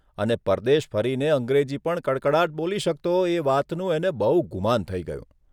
અને પરદેશ ફરીને અંગ્રેજી પણ કડકડાટ બોલી શકતો એ વાતનું એને બહું ગુમાન થઇ ગયું.